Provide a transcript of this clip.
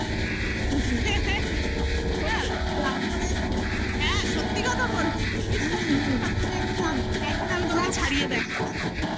তারপরে হ্যাঁ সত্যি কথা বলছি. তুমি বিশ্বাস করছো না. তুমি একদম. একদিন আমি তোমাকে ছাড়িয়ে দেখাবো তুমি দেখবে